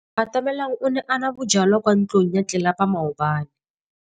Atamelang o ne a nwa bojwala kwa ntlong ya tlelapa maobane.